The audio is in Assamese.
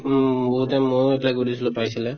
উম, বহুতে ময়ো এতিয়া খুলিছো পাইছো যে